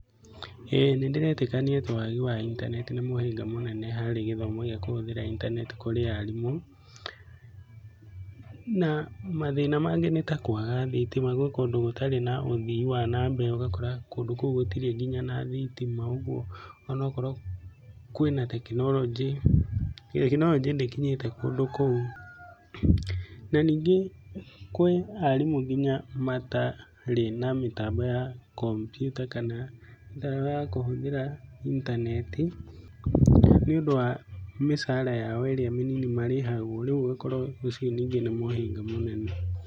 ĩĩ nĩ ndĩretĩkania atĩ wagi wa intaneti nĩ mũhĩnga mũnene hari gĩthomo gĩa kũhũthĩra intaneti kũrĩ arimũ. Na mathĩna mangĩ nĩ ta kwaga thitima, gwĩ kũndũ gũtarĩ ũthii wa na mbere ũgakora kũndũ kũu gũtirĩ nginya na thitima. Ũguo onokorwo kwĩna tekinoronjĩ, tekinoronjĩ ndĩkinyĩte kũndu kũu. Na ningĩ kwĩ arimũ nginya matarĩ na mĩtambo ya kompiuta kana ndaa ya kũhũthĩra intaneti, ni ũndũ wa mĩcara yao mĩnini ĩrĩa marĩhagwo rĩu ũgakora ũcio ningĩ nĩ mũhĩnga mũnene.